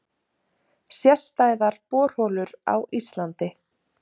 Sérstæðar borholur á Íslandi